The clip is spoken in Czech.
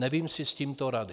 Nevím si s tímto rady.